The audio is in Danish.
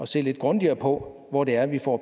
se lidt grundigere på hvor det er vi får